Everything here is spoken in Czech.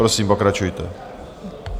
Prosím, pokračujte.